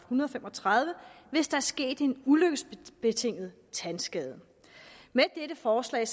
hundrede og fem og tredive hvis der er sket en ulykkesbetinget tandskade med dette forslag